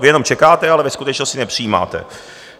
Vy jenom čekáte, ale ve skutečnosti nepřijímáte.